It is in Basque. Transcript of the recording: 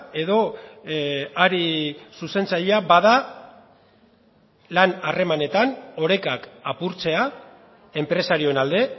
edo ari zuzentzailea bada lan harremanetan orekak apurtzea enpresarioen alde